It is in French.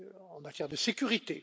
en matière de sécurité.